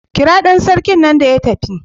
Kira dan sarkin nan ya tafi.